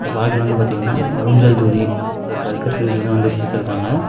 இந்த பார்க்ல வந்து பாத்தீங்னா ஊஞ்சல் தூரி சர்க்கஸ் தூரியெல்லா வந்து குடுத்துருக்காங்க.